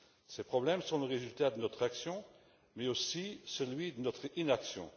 Ces problèmes sont le résultat de notre action, mais aussi de notre inaction.